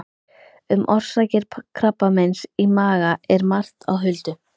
Um orsakir krabbameins í maga er margt á huldu.